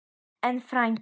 En, frændi